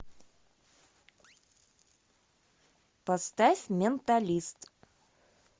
поставь менталист